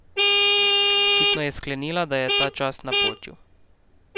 Očitno je sklenila, da je ta čas napočil.